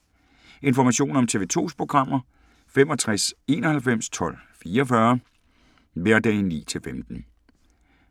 Information om TV 2's programmer: 65 91 12 44, hverdage 9-15.